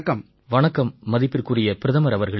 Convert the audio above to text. வணக்கம் மதிப்பிற்குரிய பிரதமர் அவர்களே